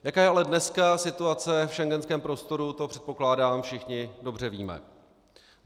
Jaká je ale dneska situace v schengenském prostoru, to, předpokládám, všichni dobře víme.